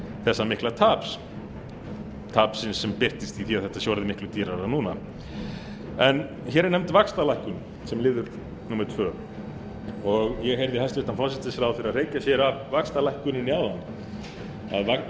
þessa mikla taps tapsins sem birtist í því að þetta sé orðið miklu dýrara núna hér er nefnd vaxtalækkun sem liður númer annað ég heyrði hæstvirtan forsætisráðherra hreykja sér af vaxtalækkuninni áðan að ríkisstjórnin